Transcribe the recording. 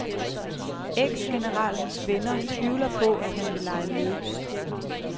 Eksgeneralens venner tvivler på, at han vil lege med.